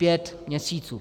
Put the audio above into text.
Pět měsíců.